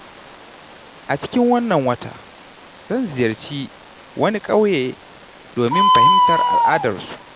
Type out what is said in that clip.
A cikin wannan wata, zan ziyarci wani ƙauye domin fahimtar al’adarsu.